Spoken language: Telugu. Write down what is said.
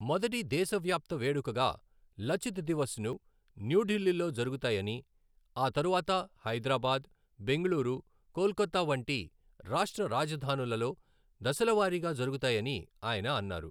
మొదటి దేశవ్యాప్తవేడుకగా 'లచిత్ దివస్'ను న్యూఢిల్లీలో జరుగుతాయని, ఆ తరువాత హైదరాబాద్, బెంగళూరు, కోల్కతా వంటి రాష్ట్ర రాజధానులలో దశలవారీగా జరుగుతాయని ఆయన అన్నారు.